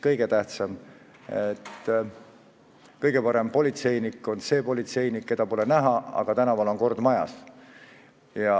Jah, kõige parem politseinik on see politseinik, keda pole näha, aga tänaval on kord majas.